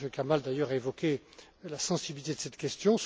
M. Kamal, d'ailleurs, a évoqué la sensibilité de cette question.